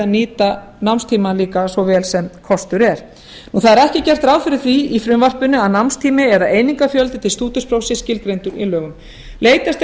nýta námstíma líka svo vel sem kostur er það er ekki gert ráð fyrir því í frumvarpinu að námstími eða einingafjöldi til stúdentsprófs sé skilgreindur í lögum leitast er við